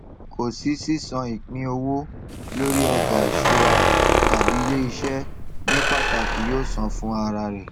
kò sí sísan ìpínowó lórí ọjà ìṣúra tàbí iléiṣẹ ní pàtàkì yóò san fún ara rẹ